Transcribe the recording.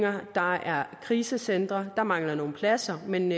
der er krisecentre der mangler nogle pladser men